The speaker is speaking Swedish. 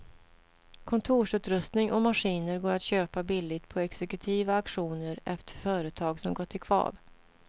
Kontorsutrustning och maskiner går att köpa billigt på exekutiva auktioner efter företag som gått i kvav.